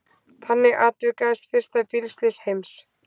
Þannig atvikaðist fyrsta bílslys heims.